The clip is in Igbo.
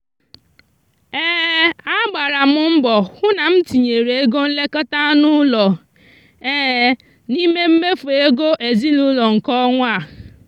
a gbara m mbọ hụ na m tinyere ego nlekọta anụ ụlọ n'ime mmefu ego ezinụụlọ nke ọnwa a.